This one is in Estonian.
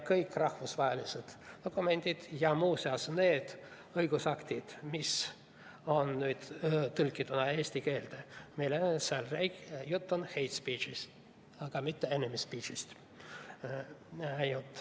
Kõigis rahvusvahelistes dokumentides ja nendes õigusaktides, mis on nüüd tõlgitud eesti keelde, on meil juttu hate speech'ist, aga mitte enemy speech'ist.